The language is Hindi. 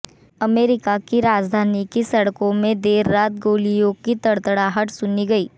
अमेरिका की राजधानी की सड़कों में देर रात गोलियों की तड़तड़ाहट सुनी गई